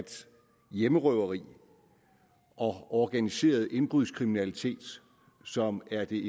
hjemmerøveri og organiseret indbrudskriminalitet som er det